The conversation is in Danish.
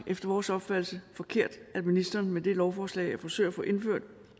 efter vores opfattelse forkert at ministeren med det her lovforslag forsøger at få indført